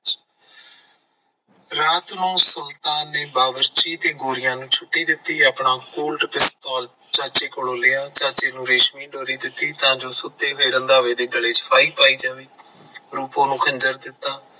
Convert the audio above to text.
ਰਾਤ ਨੂੰ ਸੁਲਤਾਨ ਨੇ ਬਾਵਰਚੀ ਤੇ ਗੋਰੀਆਂ ਨੂੰ ਛੁੱਟੀ ਦਿੱਤੀ ਆ ਆਪਣਾ ਚਾਚੇ ਕੋਲੋਂ ਲਿਆ ਚਾਚੇ ਨੂੰ ਰੇਸ਼ਮੀ ਡੋਰੀ ਦਿੱਤੀ ਤਾਂ ਜੋ ਸੁੱਤੇ ਪਏ ਰੰਧਾਵੇ ਦੇ ਗਲੇ ਚ ਫਾਈ ਪਾਈ ਜਾਵੇ। ਰੂਪੋ ਨੂੰ ਖੰਜਰ ਦਿੱਤਾ